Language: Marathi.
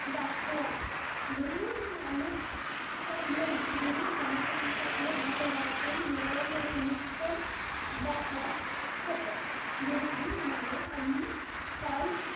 दाखवा. गुरु नानकच्या घरी, गुरु नानांकांच्या घरी~ घरातून मिळालेले नित्यम वाहक गुरुजी म्हणाले आम्ही काल,